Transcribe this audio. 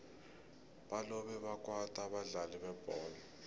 balobe bakwata abadlali bebholo